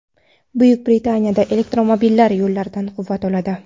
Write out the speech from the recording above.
Buyuk Britaniyada elektromobillar yo‘llardan quvvat oladi.